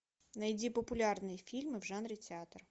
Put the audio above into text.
найди популярные фильмы в жанре театр